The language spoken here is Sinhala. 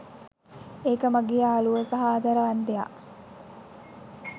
ඒක මගේ යාළුවෝ සහ ආදරවන්තයා.